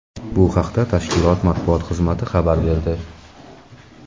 Bu haqda tashkilot matbuot xizmati xabar berdi.